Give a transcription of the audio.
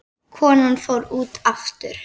Konan fór út aftur.